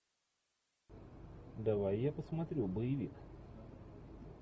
давай я посмотрю боевик